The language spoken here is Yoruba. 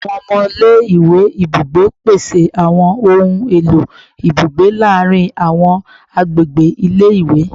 Awọn ọmọ ile-iwe ibugbe, pese awọn ohun elo ibugbe laarin awọn agbegbe ile-iwe